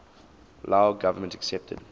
lao government accepted